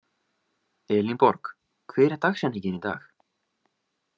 Elinborg, hver er dagsetningin í dag?